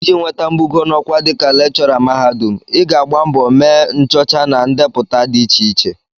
Iji nweta mbugo n'ọkwá dịka lekchọra mahadum, Ị ga-agba mbọ mee nchọcha na ndepụta dị iche iche